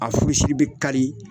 A furusi bɛ kari